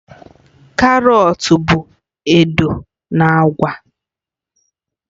Karọt bụ odo na agba